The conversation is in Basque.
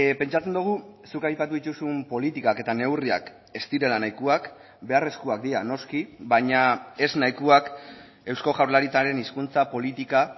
pentsatzen dugu zuk aipatu dituzun politikak eta neurriak ez direla nahikoak beharrezkoak dira noski baina ez nahikoak eusko jaurlaritzaren hizkuntza politika